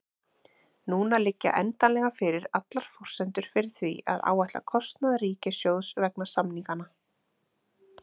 Núna liggja endanlega fyrir allar forsendur fyrir því að áætla kostnað ríkissjóðs vegna samninganna.